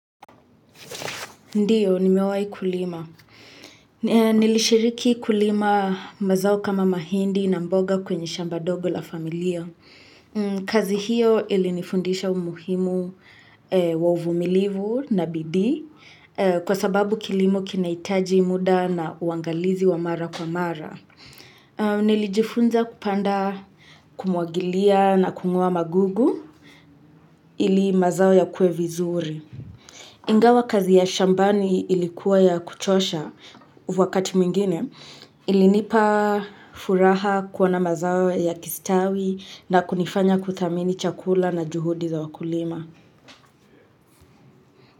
Ndiyo, nimewahi kulima. Nilishiriki kulima mazao kama mahindi na mboga kwenye shamba dogo la familia. Kazi hiyo ilinifundisha umuhimu wa uvumilivu na bidi kwa sababu kilimo kinahitaji muda na uangalizi wa mara kwa mara. Nilijifunza kupanda kumwagilia na kung'oa magugu ili mazao yakue vizuri. Ingawa kazi ya shambani ilikuwa ya kuchosha, wakati mwingine ilinipa furaha kuona mazao yakistawi na kunifanya kuthamini chakula na juhudi za wakulima.